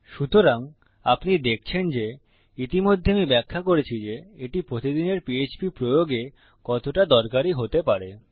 সুতরাং আপনি দেখছেন যে ইতিমধ্যে আমি ব্যাখ্যা করেছি যে এটি প্রতিদিনের পিএচপি প্রয়োগে কতটা দরকারী হতে পারে